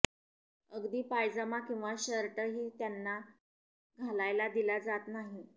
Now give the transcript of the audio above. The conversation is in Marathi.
अगदी पायजमा किंवा शर्टही त्यांना घालायला दिला जात नाही